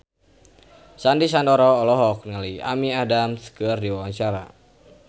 Sandy Sandoro olohok ningali Amy Adams keur diwawancara